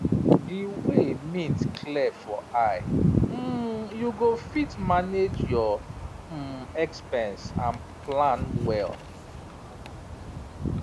di way mint clear for eye um you go fit manage your um expense and plan well